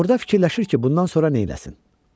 Orda fikirləşir ki, bundan sonra nə eləsin?